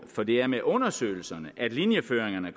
for det er med undersøgelserne at linjeføringerne